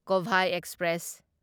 Kovai express